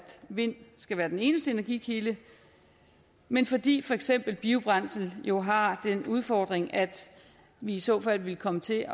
vind skal være den eneste energikilde men fordi for eksempel biobrændsel jo har den udfordring at vi i så fald ville komme til